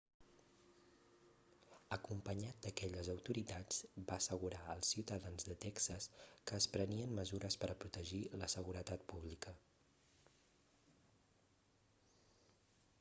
acompanyat d'aquelles autoritats va assegurar als ciutadans de texas que es prenien mesures per a protegir la seguretat pública